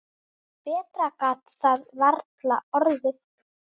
Betra gat það varla orðið.